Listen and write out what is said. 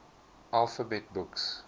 alphabet books